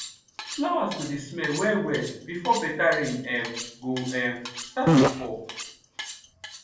flowers go dey smell well well before better rain um go um start to fall